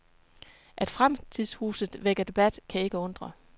At fremtidshuset vækker debat kan ikke undre.